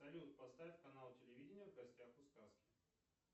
салют поставь канал телевидения в гостях у сказки